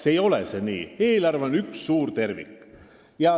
See ei ole nii, sest eelarve on üks suur tervik.